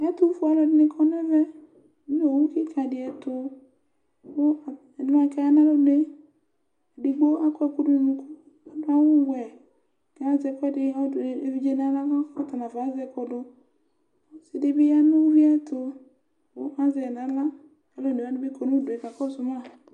Ɛtʋfue alʋɛdɩnɩ kɔnʋ ɛvɛ, nʋ owʋ kikadi ɛtʋ. kʋ ɛdɩwanɩ kʋ ɔyanʋ alɔnʋe edigbo akɔ ɛkʋ dʋnʋ ʋnʋkʋ adʋ awʋwɛ, kʋ azɛ evidze nʋ aɣla kʋ ata nafa avɛ kpɔdʋ. Ɔsɩ dɩbɩ yanʋ ʋvi ɛtʋ kʋ azɛ nʋ aɣla kʋ ɛdiwanɩ kɔnʋ ʋdʋ kakɔsʋ ma.